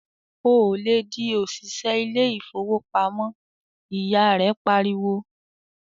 "Ò lè di òṣìṣẹ́ ilé ìfowópamọ́!", ìyá rẹ pariwo.